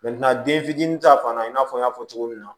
den fitinin ta fan na i n'a fɔ n y'a fɔ cogo min na